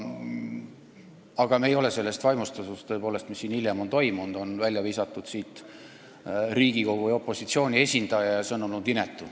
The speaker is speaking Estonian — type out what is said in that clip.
Aga me ei ole sellest eelnõust vaimustatud, sest tõepoolest see, mis siin hiljem on toimunud – nõukogust on välja visatud Riigikogu ja opositsiooni esindaja –, on olnud inetu.